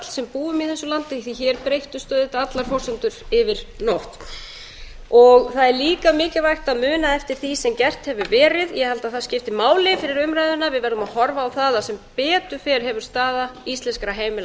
sem búum í þessu landi því að hér breyttust allar forsendur yfir nótt það er líka mikilvægt að muna eftir því sem gert hefur verið ég held að það skipti máli fyrir umræðuna við verðum að horfa á það að sem betur fer hefur staða íslenskra heimila